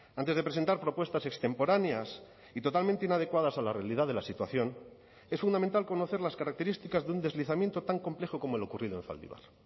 antes de presentar propuestas extemporáneas y totalmente inadecuadas a la realidad de la situación es fundamental conocer las características de un deslizamiento tan complejo como el ocurrido en zaldibar